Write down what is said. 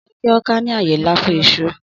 Ọjà Eke-Awka ní àyè ńlá fún iṣu